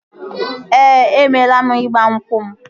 Ee, emeela m ịgba nkwụ m